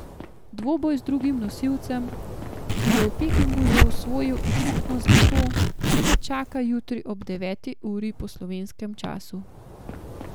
Dvoboj z drugim nosilcem, ki je v Pekingu že osvojil ekipno zlato, ga čaka jutri ob deveti uri po slovenskem času.